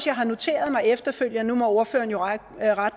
jeg har noteret mig efterfølgende nu må ordføreren jo rette